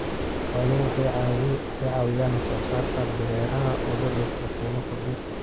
Xooluhu waxay caawiyaan wax soo saarka beeraha ee loo dhoofiyo qiimo kordhin.